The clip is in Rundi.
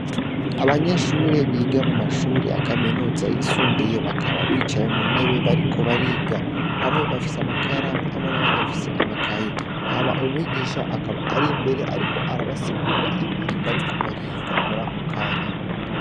Abanyeshuri biga mu mashuri ya kaminuza yisumbuye bakaba bicaye mu ntebe bariko bariga bamwe bafise amakaye hamwe n'abandi bafise amakaye hama umwigisha akaba ari imbere, ariko arabasigurira ibintu bariko bariga muri ako kanya.